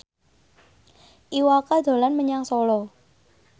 Iwa K dolan menyang Solo